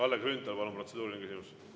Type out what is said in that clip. Kalle Grünthal, palun, protseduuriline küsimus!